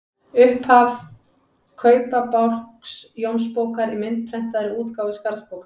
Upphaf Kaupabálks Jónsbókar í myndprentaðri útgáfu Skarðsbókar.